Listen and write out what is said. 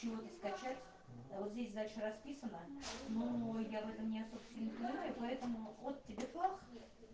минуту скачать а вот здесь дальше расписано ну я в этом не особо понимаю поэтому вот тебе пах